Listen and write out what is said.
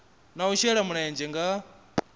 na u shela mulenzhe nga